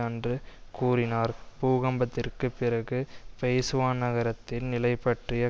அன்று கூறினார் பூகம்பத்திற்கு பிரகு பெய்சுவான் நகரத்தின் நிலை பற்றிய